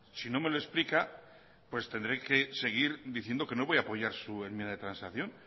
tendré que seguir diciendo que no voy apoyar su enmienda de transacción